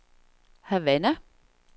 Havana